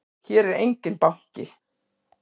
Hér er enginn banki!